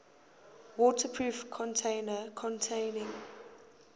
waterproof container containing